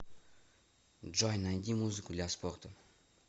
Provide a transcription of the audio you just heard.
джой найди музыку для спорта